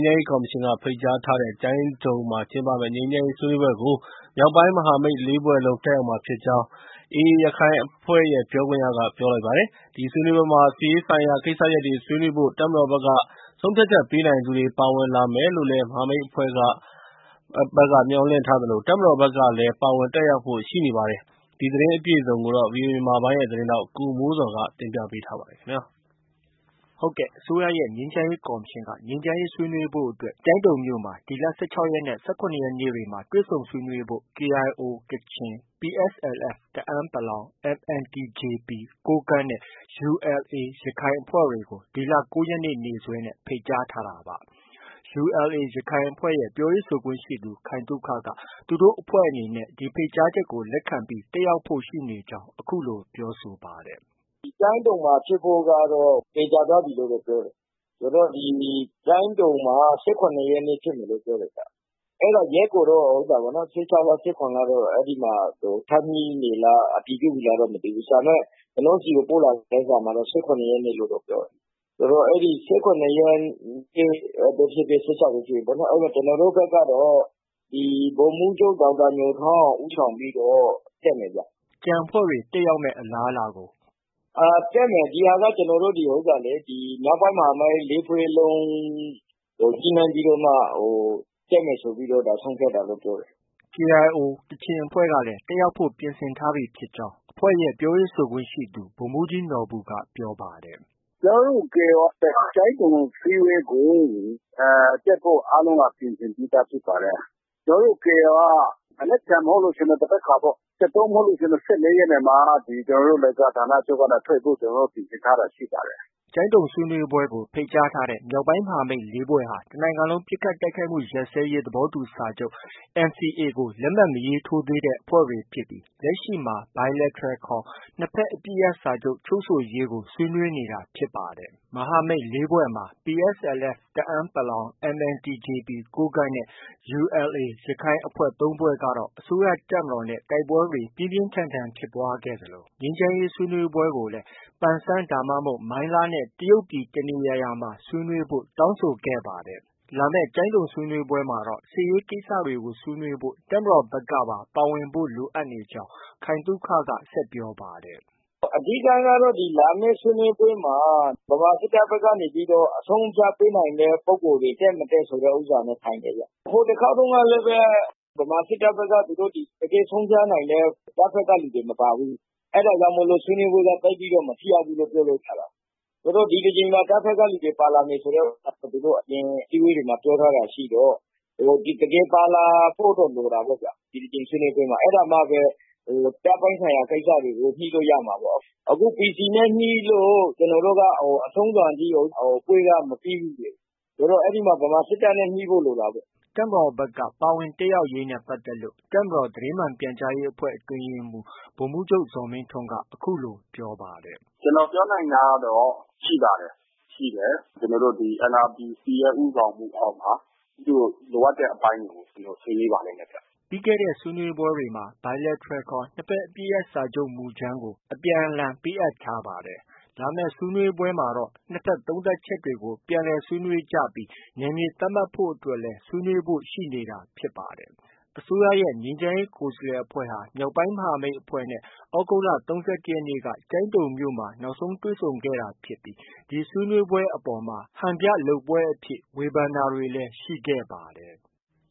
းရေးကော်မရှင်က ဖိတ်ကြားထားတဲ့ကျိုင်းတုံမှာ ကျင်းပမယ့် ငြိမ်းချမ်းရေးဆွေးနွေးပွဲကို မြောက်ပိုင်းမဟာမိတ် ၄ဖွဲ့လုံး တက်ရောက်မှာဖြစ်ကြောင်း AAရခိုင်အဖွ့ဲ ပြောခွင့်ရက ပြောပါတယ်။ ဒီဆွေးနွေးပွဲမှာ စစ်ရေးဆိုင်ရာ ကိစ္စရပ်တွေဆွေးနွေးဖို့ တပ်မတော်က ဆုံးဖြတ်ချက်ပေးနိုင်သူတွေ ပါဝင်လာမယ်လို့လည်း မဟာမိတ်အဖွဲ့တွေ ဘက်က မျှော်လင့်ထားသလို တပ်မတော်ဘက်ကလည်း ပါဝင် တက်ရောက်ဖို့ ရှိနပေါတယ်။ ဒီသတင်းအပြည့်အစုံကို ဗွီအိုအေမြန်မာပိုင်းရဲ့ သတင်းထောက် ကိုမိုးဇော်က တင်ပြထားပါတယ်။ အစိုးရရဲ့ ငြိမ်းချမ်းရေးကော်မရှင်က ငြိမ်းချမ်းရေးအတွက် ကျိုင်းတုံမြို့မှာ ဒီလ ၁၆ရက်နဲ့ ၁၇ရက်နေ့မှာ တွေ့ဆုံဆွေးနွေးဖို့ကို KIO ကချင်၊ PSLF တအန်း(ပလောင်)၊ MNTJP ကိုးကန့် နဲ့ ULA ရခိုင် အဖွဲ့တွေကို ဒီလ ၉ရက်နေ့ နေ့စွဲနဲ့ ဖိတ်ကြားထားတာပါ။ ULA ရခိုင်အဖွဲ့ရဲ့ ပြောရေးဆိုခွင့်ရှိသူ ခိုင်သုခကတော့ သူတို့ အဖွဲ့အနေနဲ့ တက်ရောက်ဖို့ ရှိကြောင်း အခုလို ပြောပါတယ်။ “ ကျိုင်းတုံမှာ ဖြစ်ဖို့ကတော့ သေချာသွားပြီလို့ ပြောတယ်။ ဆိုတော့ ဒီ ကျိုင်းတုံမှာ ၁၇ ရက်နေ့ဖြစ်မယ်လို့တော့ ပြောတယ်ဗျ။ အဲဒါ ရက်ကိုတော့ ၁၆လား၊ ၁၇လားတော့ အဲဒီမှာ ထပ်ညှိနေလား၊ အတည်ပြုပြီလားတော့ မသိဘူး။ ဒါပေမဲ့ ကျနော့ဆီ ပို့လာတဲ့ စာမှာတော့ ၁၇ရက်နေ့လို့ ပြောတယ်။ ဆိုတော့ ၁၇ရက်နေ့ပဲဖြစ်ဖြစ်၊ ၁၆ရက်နေ့ပဲဖြစ်ဖြစ် ကျနော်တို့ ဘက်ကတော့ ဗိုလ်မှုးချုပ် ဒေါက်တာ ညိုထွန်းအောင် ဦးဆောင်ပြီးတော့ တက်မယ်ဗျ။ ” ကျန်အဖွဲ့တွေ တက်ရောက်မယ့် အလားအလာကို - “ တက်မယ်ဗျ။ ဒီဟာက ကျနော်တို့ ဒီမြောက်ပိုင်းမဟာမိတ် ၄ဖွဲ့ လုံး ညှိနှိုင်းပြီးတော့မှ တက်မယ်ဆိုပြီးတော့ ဆုံးဖြတ်တာလို့ ပြောတယ်။” KIO က တက်ရောက်ဖို့ ပြင်ဆင်ထားပြီဖြစ်ကြောင်းလည်း အဖွဲ့ရဲ့ ပြောရေးဆိုခွင့်ရှိသူ ဗိုလ်မှုးကြီးနော်ဘူက အခုလို ပြောပါတယ်။ “ ကျနော်တို့ KIO က ကျိုင်းတုံအစည်းအဝေးကို တက်ဖို့ အားလုံးက ပြင်ဆင်ပြီးသားဖြစ်ပါတယ်။ ကျနော်တို့ KIO က မနက်ဖန်မဟုတ်လို့ရှိရင် သန်ဘက်ခါပေ့ါ။ ၁၃ မဟုတ်ရင် ၁၄ ရက်နေ့မှာ ကျနော်တို့ လိုင်ဇာဌာနချုပ်ကနေ ကျနော်တို့ ထွက်ဖို့ ပြင်ဆင်ထားပါတယ်။ ” ကျိုင်းတုံဆွေးနွေးပွဲကို ဖိတ်ကြားထားတဲ့ မြောက်ပိုင်းမဟာမိတ် ၄ဖွဲ့ဟာ တစ်နိုင်ငံလုံးပစ်ခတ် တိုက်ခိုက်မှုရပ်စဲရေး သဘောတူစာချုပ် NCA ကို လက်မှတ်မရေးထိုးသေးတဲ့ အဖွဲ့တွေဖြစ်ပြီး လက်ရှိမှာ Bilateral ခေါ် နှစ်ဘက် အပစ်ရပ်စာချုပ် ချုပ်ဆိုရေးကို ဆွေးနွေးနေတာဖြစ်ပါတယ်။ မဟာမိတ် ၄ဖွဲ့မှာ PSLF တအန်း(ပလောင်)၊ MNTJP ကိုးကန့် နဲ့ ULA ရခိုင် အဖွဲ့ ၃ဖွဲ့ကတော့ အစိုးရတပ်မတော်နဲ့ တိုက်ပွဲတွေ ပြင်းပြင်းထန်ထန်ဖြစ်ပွားခဲ့သလို ငြိမ်းချမ်းရေးဆွေးနွေးပွဲကိုလည်း ပန်ဆန်း ဒါမှမဟုတ် မိုင်းလားနဲ့ တရုတ်ပြည် တစ်နေရာရာမှာ ဆွေးနွေးဖို့ တောင်းဆိုခဲ့တာပါ။ လာမယ့် ကျိုင်းတုံဆွေးနွေးပွဲမှာ စစ်ရေးကိစ္စတွေဆွေးနွေးဖို့ တပ်မတော်ဘက်ကပါ ပါဝင်ဖို့ လိုအပ်နေကြောင်း ခိုင်သုခက ဆက်ပြောပါတယ်။ “ အဓိကကတော့ ဒီလာမယ့် ဆွေးနွေးပွဲမှာ ဗမာစစ်တပ်ဘက်ကနေပြီးတော့ အဆုံးအဖြတ်ပေးနိုင်တဲ့ ပုဂ္ဂိုလ်တွေ တက်မတက်ဆိုတာနဲ့ ဆိုင်တယ်ဗျ။ ဟိုတစ်ခေါက်တုံးကလည်း ဗမာစစ်တပ်ဘက်က သူတို့ တကယ်ဆုံးဖြတ်နိုင်တဲ့ တပ်ဘက်က လူတွေ မပါဘူး။ အဲဒါကြောင့် ဆွေးနွေးပွဲက သိပ်မထိရောက်ဘူးလို့ ပြောလို့ ရတာပေါ့။ ဆိုတော့ ဒီတစ်ကြိမ်မှာ တပ်ဘက်ကလူတွေ ပါလာမယ်ဆိုတဲ့ ဥစ္စာသူတို့ အပြင်အစည်းအဝေးတွေမှာ ပြောထားတာရှိတော့ တကယ်ပါလာဖို့တော့ လိုတာပေါ့ဗျာ။ ဒီတစ်ကြိမ်ဆွေးနွေးပွဲမှာ အဲဒါမှပဲ တပ်ပိုင်းဆိုင်ရာကိစ္စတွေကို ညှိလို့ ရမှာပေါ့။ အခုဒီ အခု PC နဲ့ ညှိလို့ အဆုံးစွန်ထိ ပွဲက မပြီးဘူးလေ။ အဲဒီမှာ ဗမာစစ်တပ်နဲ့ ညှိဖို့ လိုတာပေါ့။ ” တပ်မတော်ဘက်က ပါဝင်တက်ရောက်ရေးနဲ့ပတ်သက်လို့ တပ်မတော်သတင်းမှန်ပြန်ကြားရေးအဖွဲ့ အတွင်းရေးမှုး ဗိုလ်မှုးချုပ် ဇော်မင်းထွန်းက အခုလို ပြောပါတယ်။ “ ကျနော် ပြောနိုင်တာကတော့ ရှိပါတယ်။ ရှိတယ်။ ကျနော်တို့ NRPC ရဲ့ ဦးဆောင်မှုအောက်မှာ သူတို့ လိုအပ်တဲ့အပိုင်းတွေကို ဆွေးနွေးပါလိမ့်မယ်ခင်ဗျ။ ” ပြီးခဲ့တဲ့ ဆွေးနွေးပွဲတွေမှာတော့ Bilateral ခေါ် နှစ်ဘက်အပစ်ရပ်စာချုပ်မူကြမ်းကို အပြန်အလှန် ပေးအပ်ထားခဲ့တာပါ။ လာမယ့်ဆွေးနွေးပွဲမှာတော့ နှစ်ဘက် သုံးသပ်ချက်တွေကို အပြန်အလှန်ဆွေးနွေးကြပြီး နယ်မြေသတ်မှတ်ဖု့ိအတွက်လည်း ဆွေးနွေးဖို့ ရှိနေတာဖြစ်ပါတယ်။ အစိုးရရဲ့ ငြိမ်းချမ်းရေးကိုယ်စားလှယ်အဖွဲ့ဟာ မြောက်ပိုင်းမဟာမိတ်အဖွဲ့နဲ့ သြဂုတ်လ ၃၁ရက်နေ့က ကျိုင်းတုံမြို့မှာ နောက်ဆုံးတွေ့ဆုံခဲ့တာဖြစ်ပြီး ဒီဆွေးနွေးပွဲအပေါ်မှာ ဟန်ပြ လုပ်ပွဲအဖြစ် ဝေဖန်တာတွေလည်း ရှိခဲ့ပါတယ်။